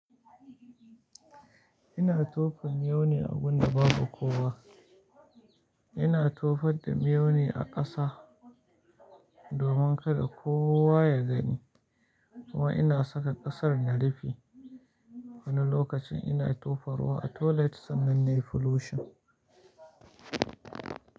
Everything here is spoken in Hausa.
Ina tofe miyau ne a gun da babu kowa. Ina tofadda miyau ne a ƙasa domin kada kowa ya gani. Kuma ina saka ƙasar na rufe. Wani lokacin ina tofarwa a toilet, sannan nayi flushing.